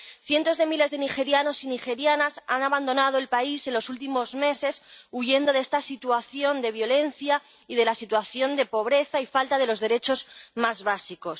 Cientos de miles de nigerianos y nigerianas han abandonado el país en los últimos meses, huyendo de esta situación de violencia y de la situación de pobreza y falta de los derechos más básicos.